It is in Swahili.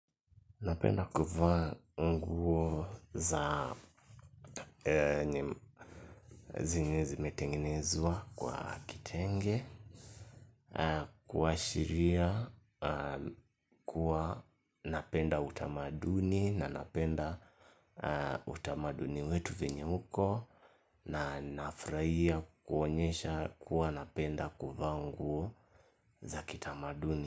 Napenda kuvaa nguo zenye zimetengenezwa kwa kitenge, kuashiria kuwa napenda utamaduni na napenda utamaduni wetu venye huko na nafurahia kuonyesha kuwa napenda kuvaa nguo za kitamaduni.